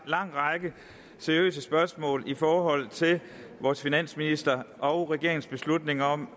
lang række seriøse spørgsmål i forhold til vores finansministers og regerings beslutning om